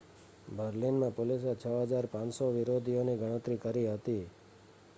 બર્લિનમાં પોલીસે 6,500 વિરોધીઓની ગણતરી કરી હતી